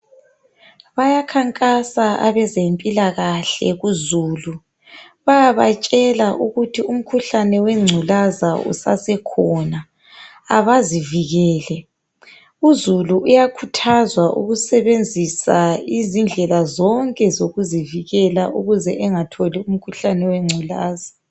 Bayakhankasa abezempilakahle kuzulu. Bayabatshela ukuthi umkhuhlane wenculaza usasekhona abazivikele. Uzulu uyakhuthwaza ukusebenzisa izindlela zonke zokuzivikele ukuze engatholi umkhuhlane wenculaza.